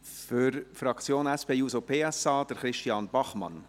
Für die Fraktion der SP-JUSO-PSA: Christian Bachmann.